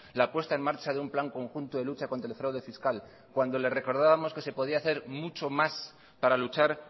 la apuesta en marcha de un plan conjunto de lucha contra el fraude fiscal cuando le recordábamos que se podía hacer mucho más para luchar